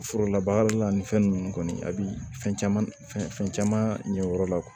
Forolabaara la ani fɛn nunnu kɔni a bi fɛn caman fɛn caman ɲɛyɔrɔ la